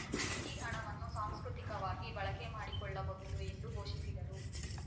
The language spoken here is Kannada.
ಈ ಹಣವನ್ನು ಸಾಂಸ್ಕೃತಿಕವಾಗಿ ಬಳಕೆ ಮಾಡಿಕೊಳ್ಳ ಬಹುದು ಎಂದು ಘೋಷಿಸಿದರು